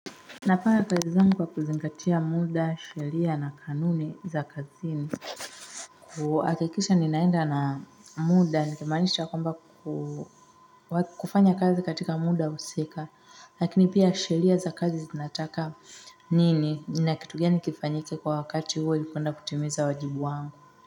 Napata hezamu kwa kuzingatia muda, sheria na kanuni za kazini. Akikisha ninaenda na muda nikimanisha kwamba kufanya kazi katika muda husika lakini pia sheria za kazi zinataka nini nina kitugani kifanyike kwa wakati huo yukuenda kutimeza wajibu wangu.